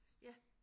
Ja